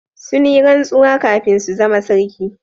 Sun yi rantsuwa kafin su zama sarki